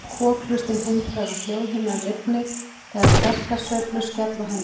Kokhlustin hindrar að hljóðhimnan rifni þegar sterkar sveiflur skella á henni.